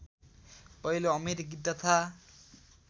पहिलो अमेरिकी तथा